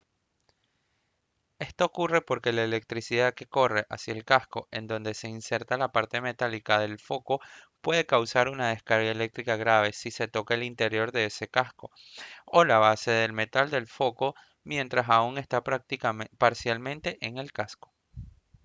esto ocurre porque la electricidad que corre hacia el casco en donde se inserta la parte metálica del foco puede causar una descarga eléctrica grave si se toca el interior de ese casco o la base de metal del foco mientras aún está parcialmente en el casco